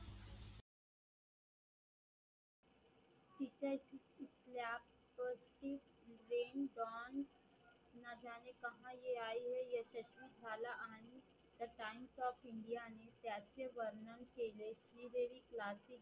Classical